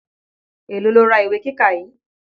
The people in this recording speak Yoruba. Èló lo ra ìwé kíkà yìí.